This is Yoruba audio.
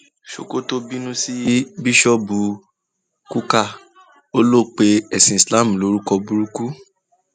sokoto bínú sí bíṣọọbù kukah ó lọ pe ẹsìn islam lórúkọ burúkú